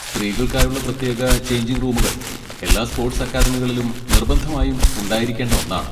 സ്ത്രീകൾക്കായുള്ള പ്രത്യേക ചെയ്ഞ്ചിങ് റൂമുകൾ എല്ലാ സ്പോട്സ് അക്കാദമികളിലും നിർബന്ധമായും ഉണ്ടായിരിക്കേണ്ട ഒന്നാണ്.